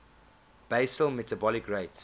basal metabolic rate